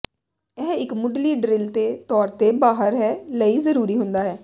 ਇਹ ਇੱਕ ਮੁੱਢਲੀ ਡਰਿਲ ਦੇ ਤੌਰ ਤੇ ਬਾਹਰ ਲੈ ਲਈ ਜਰੂਰੀ ਹੁੰਦਾ ਹੈ